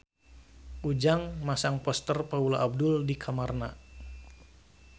Ujang masang poster Paula Abdul di kamarna